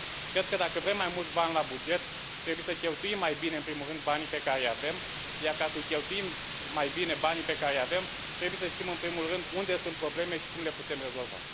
Cred că, dacă vrem mai mulți bani la buget, trebuie să cheltuim mai bine în primul rând banii pe care îi avem iar, ca să cheltuim mai bine banii pe care îi avem, trebuie să știm în primul rând unde sunt probleme și cum le putem rezolva.